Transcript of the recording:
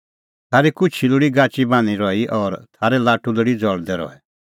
थारी कुछी लोल़ी गाची बान्हीं रही और थारै लाटू लोल़ी ज़ल़दै रहै